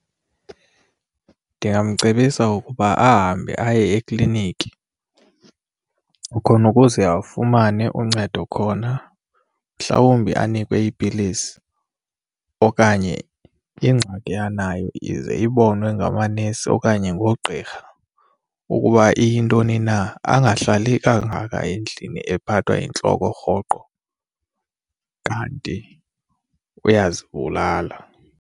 Ndingamcebisa ukuba ahambe aye ekliniki khona ukuze afumane uncedo khona mhlawumbi anikwe iipilisi okanye ingxaki anayo ize ibonwe ngamanesi okanye ngoogqirha ukuba iyintoni na. Angahlali kangaka endlini ephathwa yintloko rhoqo kanti uyazibulala.